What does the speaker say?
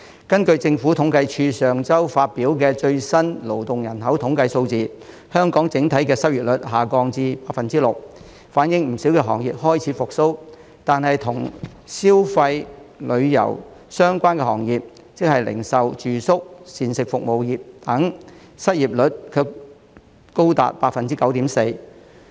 根據政府統計處上周發表的最新勞動人口統計數字，香港整體失業率下降至 6%， 反映不少行業開始復蘇，但與消費及旅遊業相關的行業失業率卻仍高達 9.4%。